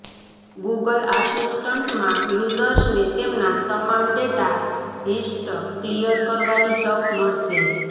Google આસિસ્ટન્ટમાં યુઝર્સને તેમના તમામ ડેટા હિસ્ટ્ ક્લિયર કરવાની તક મળશે